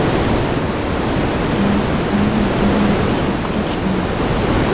лента тайны древней руси включи мне